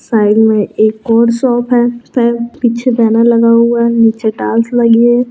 साइड में एक और शॉप है पीछे बैनर लगा हुआ है निचे टाइल्स लगी है।